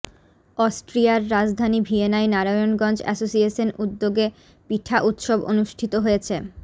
অস্ট্রিয়ার রাজধানী ভিয়েনায় নারায়ণগঞ্জ অ্যাসোসিয়েশন উদ্যোগে পিঠা উৎসব অনুষ্ঠিত হয়েছে